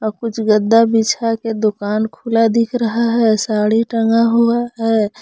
कुछ गद्दा बिछा के दुकान खुला दिख रहा है साड़ी टंगा हुआ है।